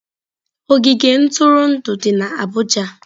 Ogige ntụrụndụ dị na abuja.